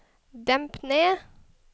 demp ned